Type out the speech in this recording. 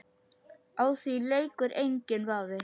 Á því leikur enginn vafi.